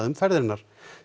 um ferðir hennar